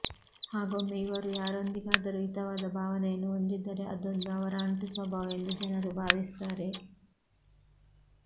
ಹಾಗೊಮ್ಮೆ ಇವರು ಯಾರೊಂದಿಗಾದರೂ ಹಿತವಾದ ಭಾವನೆಯನ್ನು ಹೊಂದಿದ್ದರೆ ಅದೊಂದು ಅವರ ಅಂಟು ಸ್ವಭಾವ ಎಂದು ಜನರು ಭಾವಿಸುತ್ತಾರೆ